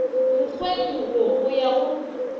mokgweng wo go ya go